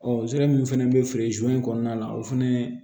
Ɔ min fana bɛ feere kɔnɔna la o fana